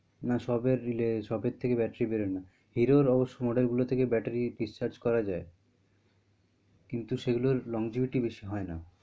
না সবের রিলে সবের থেকে battery বেরোয় না hero অবশ্য model গুলো থাকে batterydischarge করা যায় কিন্তু সে গুলোর longevity বেশি হয় না।